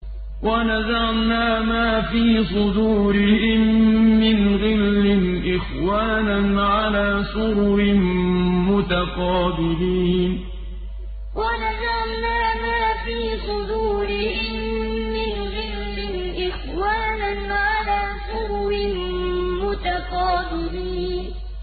وَنَزَعْنَا مَا فِي صُدُورِهِم مِّنْ غِلٍّ إِخْوَانًا عَلَىٰ سُرُرٍ مُّتَقَابِلِينَ وَنَزَعْنَا مَا فِي صُدُورِهِم مِّنْ غِلٍّ إِخْوَانًا عَلَىٰ سُرُرٍ مُّتَقَابِلِينَ